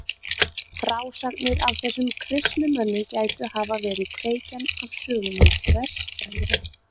Frásagnir af þessum kristnu mönnum gætu hafa verið kveikjan af sögunni um Presta-Jón.